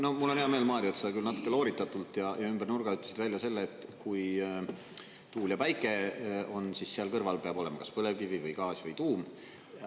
No mul on hea meel, Mario, et sa küll natuke looritatult ja ümber nurga ütlesid välja selle, et kui tuul ja päike on, siis seal kõrval peab olema kas põlevkivi või gaas või tuum.